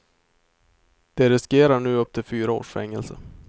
De riskerar nu upp till fyra års fängelse.